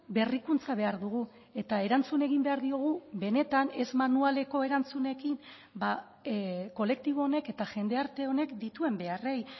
berrikuntza behar dugu eta erantzun egin behar diogu benetan ez manualeko erantzunekin kolektibo honek eta jendarte honek dituen beharrei